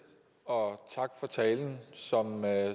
og tak for talen som